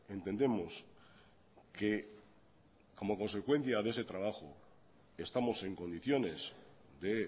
entendemos que como consecuencia de ese trabajo estamos en condiciones de